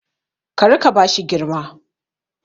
Kí rika bashi girma